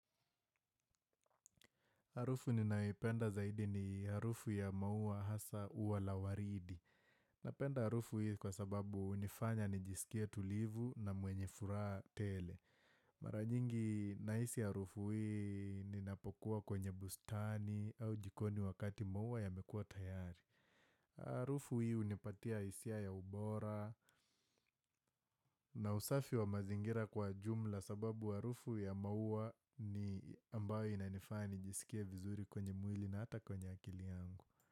Harufu ninaipenda zaidi ni harufu ya maua hasa ua la waridi. Napenda harufu hii kwa sababu hunifanya nijisikie tulivu na mwenye furaha tele. Mara jingi naisi harufu hii ninapokuwa kwenye bustani au jikoni wakati maua yamekua tayari. Harufu hii hunipatia hisia ya ubora na usafi wa mazingira kwa jumla Kwa sababu harufu ya maua ni ambayo inanifanya nijisikie vizuri kwenye mwili na hata kwenye akili yangu.